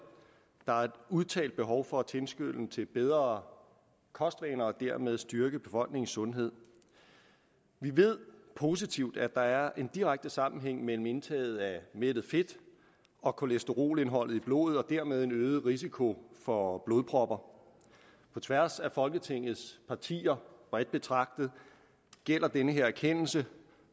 der er et udtalt behov for at tilskynde til bedre kostvaner og dermed styrke befolkningens sundhed vi ved positivt at der er en direkte sammenhæng mellem indtaget af mættet fedt og kolesterolindholdet i blodet og dermed en øget risiko for blodpropper på tværs af folketingets partier bredt betragtet gælder den her erkendelse